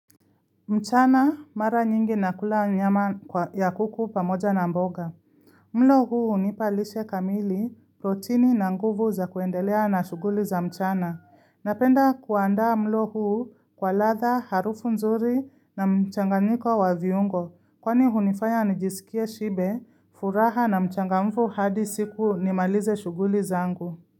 Mchana mara nyingi nakula nyama ya kuku pamoja na mboga. Mlo huu nipalishe kamili protini na nguvu za kuendelea na shuguli za mchana. Napenda kuanda mlo huu kwa ladha, harufu nzuri na mchanganyiko wa viungo. Kwani hunifaya nijisikie shibe, furaha na mchanga mfu hadi siku nimalize shuguli za angu.